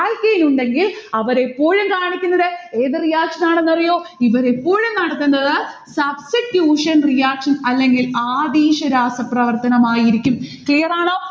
alkane ഉണ്ടെങ്കിൽ അവർ എപ്പോഴും കാണിക്കുന്നത് ഏതു reaction ആണെന്ന് അറിയോ. ഇവർ എപ്പോഴും നടത്തുന്നത് substitution reaction അല്ലെങ്കിൽ ആതീശ്വരാസ പ്രവർത്തനം ആയിരിക്കും. clear ആണോ?